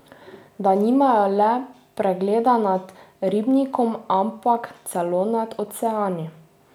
Da nimajo le pregleda nad ribnikom, ampak celo nad oceani.